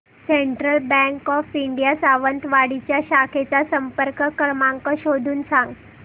central bank of India Sawantwadi च्या शाखेचा संपर्क क्रमांक शोधून सांग